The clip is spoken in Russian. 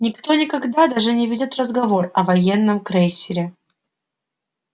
никто никогда даже не ведёт разговор о военном крейсере